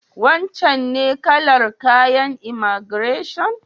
Wancen ne kalar kayan imaigireshon?